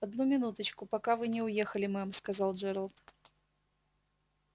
одну минуточку пока вы не уехали мэм сказал джералд